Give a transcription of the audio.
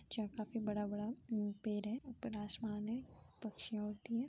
जहाँ काफी बड़ा बड़ा पेड़ है। ऊपर आसमान है। पक्षियाँ उड़ती हैं।